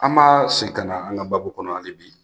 An ma segin ka na an ka babu kɔnɔ ali bi.